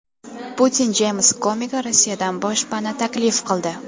Putin Jeyms Komiga Rossiyadan boshpana taklif qildi.